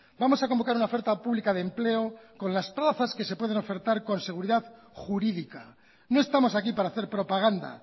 vamos a convocar una oferta pública de empleo con las plazas que se pueden ofertar con seguridad jurídica no estamos aquí para hacer propaganda